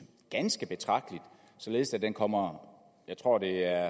ganske betragteligt således at den kommer jeg tror der